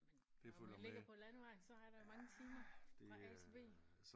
Men når man ligger på landevejen så er der jo mange timer fra A til B